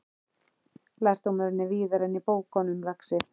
Lærdómurinn er víðar en í bókunum, lagsi.